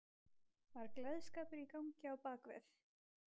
Var gleðskapur í gangi á bak við?